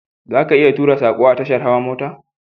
Zaka iya tura sako a tashar hawa mota